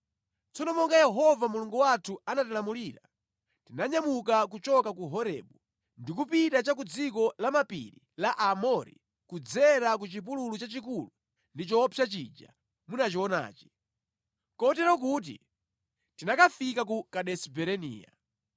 Tsono monga Yehova Mulungu wathu anatilamulira, tinanyamuka kuchoka ku Horebu ndi kupita cha ku dziko lamapiri la Aamori kudzera ku chipululu chachikulu ndi choopsa chija munachionachi, kotero kuti tinakafika ku Kadesi Barinea.